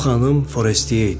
Bu xanım Foretiye idi.